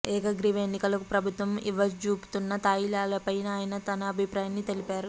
ఏకగ్రీవ ఎన్నికలకు ప్రభుత్వం ఇవ్వజూపుతున్న తాయిలాలపైనా ఆయన తన అభిప్రాయం తెలిపారు